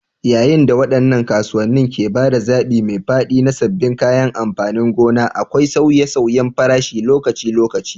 Yayin da waɗannan kasuwanni ke ba da zaɓi mai faɗi na sabbin kayan amfanin gona, akwai sauye-sauyen farashi lokaci-lokaci.